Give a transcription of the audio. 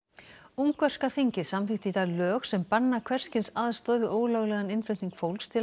ungverska þingið samþykkti í dag lög sem banna hvers kyns aðstoð við ólöglegan innflutning fólks til